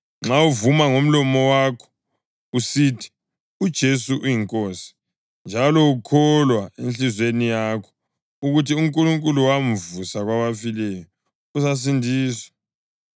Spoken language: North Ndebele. nxa uvuma ngomlomo wakho usithi, “UJesu uyiNkosi,” njalo ukholwa enhliziyweni yakho ukuthi uNkulunkulu wamvusa kwabafileyo, uzasindiswa.